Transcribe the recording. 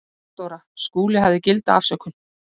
THEODÓRA: Skúli hafði gilda afsökun.